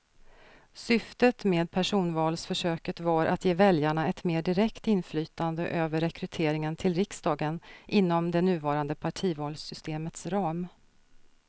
Syftet med personvalsförsöket var att ge väljarna ett mer direkt inflytande över rekryteringen till riksdagen inom det nuvarande partivalssystemets ram.